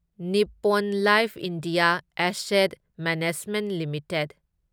Nippon life India asset management limited